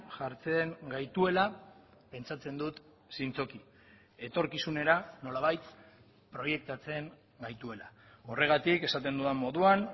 jartzen gaituela pentsatzen dut zintzoki etorkizunera nolabait proiektatzen gaituela horregatik esaten dudan moduan